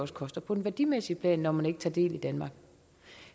koster på det værdimæssige plan når man ikke tager del i danmark